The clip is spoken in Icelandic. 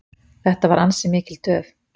Þetta var ansi mikil töf.